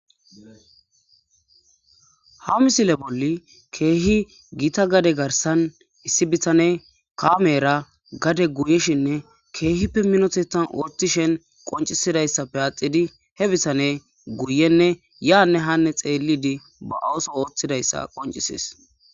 Ha misile bolli keehi gita gade garsan issi bitane kaamera gade goyishenne keehippe minotetan oothishen qoncisidayssappe axidi he bisane guyenne yaanne hanne xeellidi ba ooso oothidayssa qoncisees.